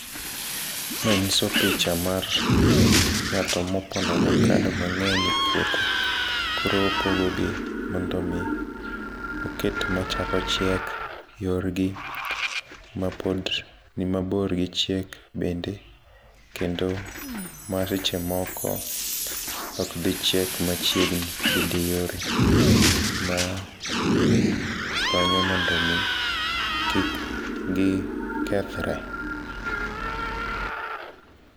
Mae nyiso picha mar ng'ato mopono avocado mang'eny e puothe koro opogogi mondo mi oket machako chiek yorgi, mapod ni mabor gichiek bende kendo mar seche moko ok dhi chiek machiegni bende yore. Ma konyo mondo mi kik gi kethre.